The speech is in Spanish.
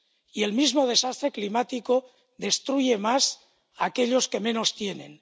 Y el mismo desastre climático destruye más aquellos que menos tienen.